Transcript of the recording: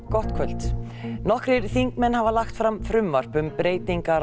gott kvöld nokkrir þingmenn hafa lagt fram frumvarp um breytingar á